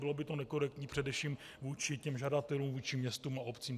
Bylo by to nekorektní především vůči těm žadatelům, vůči městům a obcím.